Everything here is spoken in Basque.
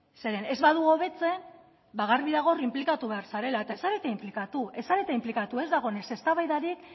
zeren ez badu hobetzen ba garbi dago hor inplikatu behar zarela eta ez zarete inplikatu ez zarete inplikatu ez da egon ez eztabaidarik